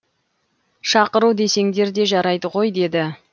шақыру десеңдер де жарайды ғой деді